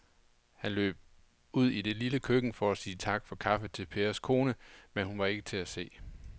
Han løb ud i det lille køkken for at sige tak for kaffe til Pers kone, men hun var ikke til at se.